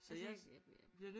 Altså